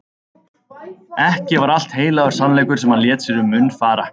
Ekki var allt heilagur sannleikur sem hann lét sér um munn fara.